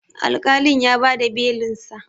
alƙalin ya ba da Belinsa